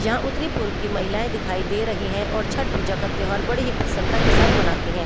यहां उत्तरी पूर्व की महिलाएं दिखाई दे रही हैं और छठ पूजा का त्यौहार बड़ी ही प्रसन्नता के साथ मनाती हैं।